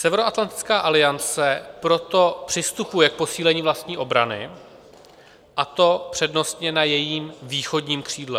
Severoatlantická aliance proto přistupuje k posílení vlastní obrany, a to přednostně na jejím východním křídle.